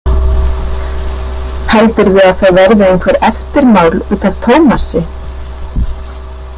Heldurðu að það verði einhver eftirmál út af Tómasi?